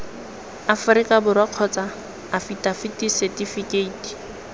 aforika borwa kgotsa afitafiti setifikeiti